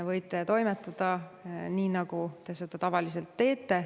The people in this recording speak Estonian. Võite toimetada nii, nagu te tavaliselt teete.